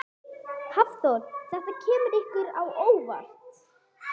Hafþór: Þetta kemur ykkur á óvart?